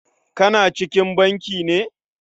Tana cikin banki ne?